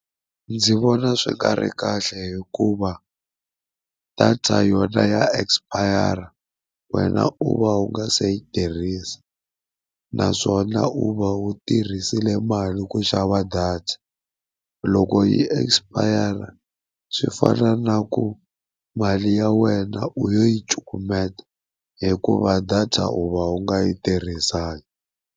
Ndzi vona swi nga ri kahle hikuva data yona ya expire, wena u va u nga se yi tirhisa naswona u va u tirhisile mali ku xava data. Loko yi expire swi fana na ku mali ya wena u yo yi cukumeta hikuva data u va u nga yi tirhisanga.